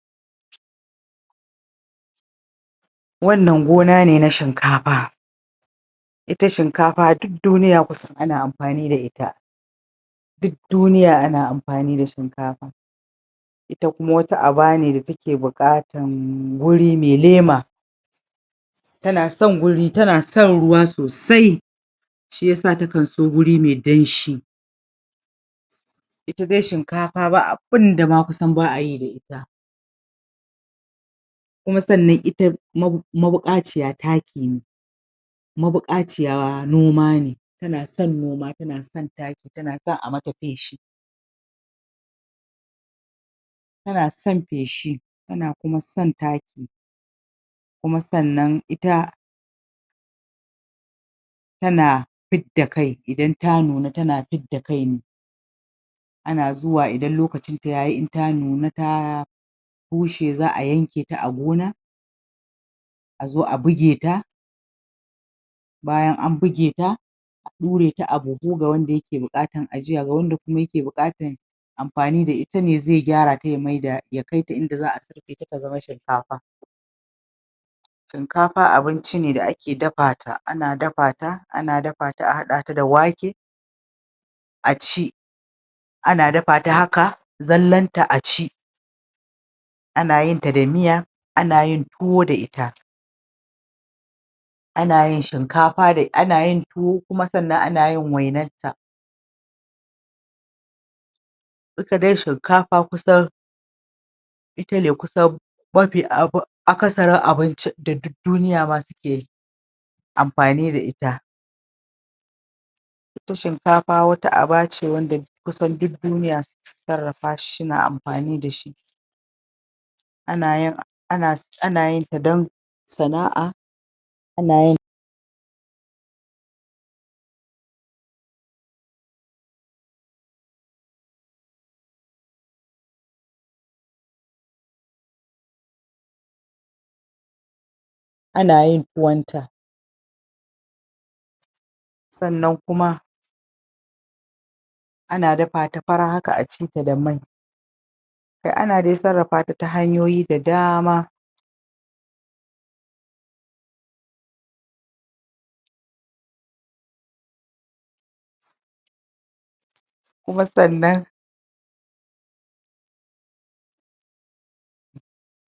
wannan gona ne na shinkafa ita shinkafa duk duniya kusan ana amfani da ita duk duniya ana amfani da shinkafa ita kuma wata aba ne da take bukatan wuri me lema tana son wuri tana son ruwa sosai shiyasa ta kan so wuri me danshi ita dai shinkafa ba abunda ma kusan baa yi da ita kuma sannan ita mabu mabukaciya taki ce mabukaciya noma ne tana son noma tana son taki tanason a mata feshi tana son feshi tana kuma son taki kuma sannan ita tana fidda kai idan ta nuna tana fidda kai ana zuwa idan lokacin ta yayi in ta nuna ta bushe zaa yanketa a gona a zo a bugeta bayan an bugeta a dureta a buhu ga wanda ke bukatan ajiya ga wanda ke bukatan amfani da itane zai gyarata ya maida ya kaita inda zaa surfe ta ta zama shinkafa shunkafa abinci ne da ake dafa ta ana dafa ta ana dafa ta a hada ta da wake aci ana dafa ta haka zallan ta a ci ana yin ta da miya ana yin tuwo da ita ana yin shinkafa anayin tuwo kuma sannan anayin wainan ta ita dai shinkafa kusan itane kusan mafi abu akasa rin abincin da duk duniya ma suke amfani da ita ita shinkafa wata aba ce wanda kusan duk duniya sarrafashi shina amfani da shi ana yin ana anayin ta don sana'a anayin anayin tuwon ta sannan kuma ana dafa ta fara haka a ci ta da mai kai ana dai sarrafata ta hanyoyi da daama kuma sannan